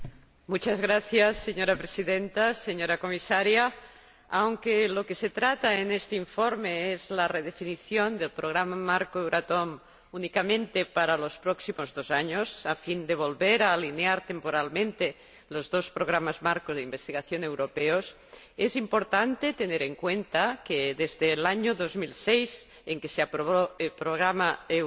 Señora Presidenta, señora Comisaria, aunque lo que se trata en este informe es la redefinición del Programa Marco Euratom únicamente para los próximos dos años, a fin de volver a alinear temporalmente los dos Programas Marco de Investigación europeos, es importante tener en cuenta que, desde el año 2006, en que se aprobó el programa Euratom vigente,